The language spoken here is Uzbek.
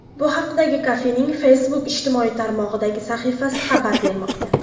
Bu haqda kafening Facebook ijtimoiy tarmog‘idagi sahifasi xabar bermoqda .